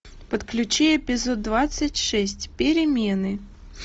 подключи эпизод двадцать шесть перемены